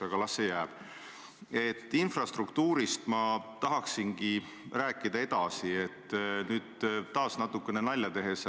Mina olen nõus, kui kõigevägevam elu ja tervist annab, mere äärde minema koos teiega, lapsed kaasa võtma, on see siis 20 või 30 aasta pärast.